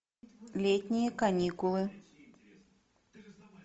летние каникулы